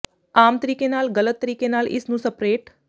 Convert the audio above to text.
ਆਮ ਤਰੀਕੇ ਨਾਲ ਗਲਤ ਤਰੀਕੇ ਨਾਲ ਇਸ ਨੂੰ ਸਪਰੇਟ